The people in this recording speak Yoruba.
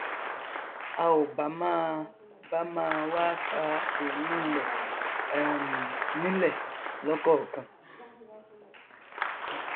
a ò bá máa bá máa wá ṣa èrúnrún rẹ um nílẹ lọkọọkan